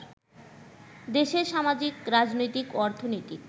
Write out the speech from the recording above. দেশের সামাজিক, রাজনৈতিক, অর্থনৈতিক